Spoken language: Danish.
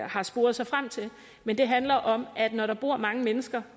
har sporet sig frem til men det handler om at når der bor mange mennesker